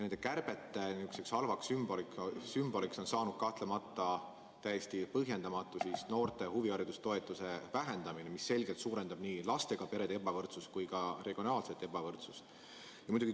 Nende kärbete nihukeseks halvaks sümboliks on saanud kahtlemata täiesti põhjendamatu noorte huvihariduse toetuse vähendamine, mis selgelt suurendab nii lastega perede ebavõrdsust kui ka regionaalset ebavõrdsust.